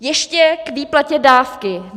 Ještě k výplatě dávky.